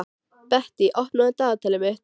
Bettý, opnaðu dagatalið mitt.